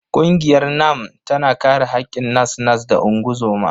Ƙungiyar NANNM tana kare haƙƙin nas-nas da ungozoma.